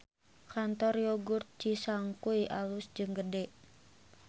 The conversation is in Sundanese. Kantor Yogurt Cisangkuy alus jeung gede